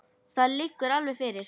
Það liggur alveg fyrir.